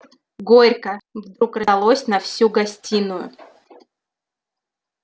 горько вдруг раздалось на всю гостиную